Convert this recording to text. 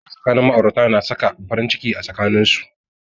Soyayya tsakanin ma'aurata na saka farin ciki a tsakanin su.